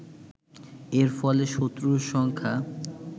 এর ফলে শত্রুর সংখ্যা